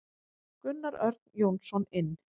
Gunnar Örn Jónsson inn.